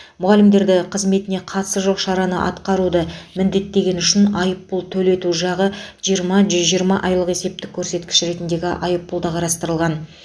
мұғалімдерді қызметіне қатысы жоқ шараны атқаруды міндеттегені үшін айыппұл төлету жағы жиырма жүз жиырма айлық есептік көрсеткіш айыппұл да қарастырылған